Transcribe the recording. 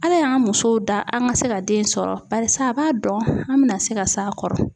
Ala y'an musow da, an ka se ka den sɔrɔ ,barisa a b'a dɔn an bɛna se ka s'a kɔrɔ.